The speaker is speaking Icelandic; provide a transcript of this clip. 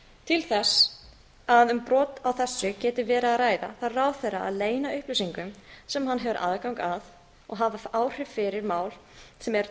til þess að um bent á þessu geti verið að ræða þarf ráðherra að leyna upplýsingum sem hann hefur aðgang að og hafa áhrif fyrir mál sem er til